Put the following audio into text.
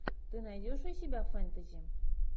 ты найдешь у себя фэнтези